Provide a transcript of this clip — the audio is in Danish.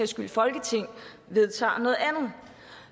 skyld folketinget vedtager noget andet